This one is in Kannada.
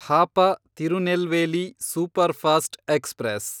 Hapa Tirunelveli superfast express